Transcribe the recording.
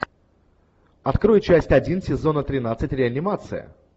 открой часть один сезона тринадцать реанимация